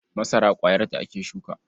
Masara ƙwayarta ake shuka.